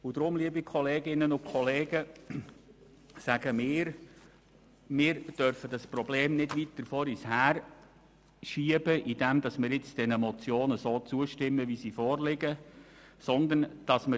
Deshalb, liebe Kolleginnen und Kollegen, sagen wir, dass wir das Problem nicht weiter vor uns herschieben dürfen, indem wir den Motionen wie vorliegend zustimmen.